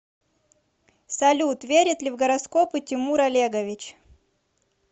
салют верит ли в гороскопы тимур олегович